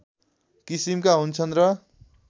किसिमका हुन्छन् र